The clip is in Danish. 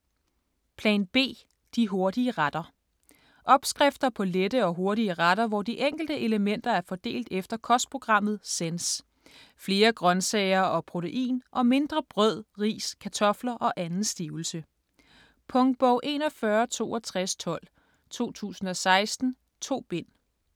Plan B - de hurtige retter Opskrifter på lette og hurtige retter hvor de enkelte elementer er fordelt efter kostprogrammet Sense: flere grøntsager og protein og mindre brød, ris, kartofter og anden stivelse. Punktbog 416212 2016. 2 bind.